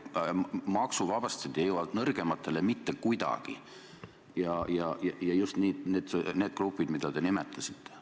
Maksuvabastused ei jõua nõrgemateni mitte kuidagi ja just nende gruppideni, mida te nimetasite.